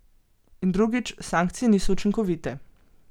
In drugič, sankcije niso učinkovite.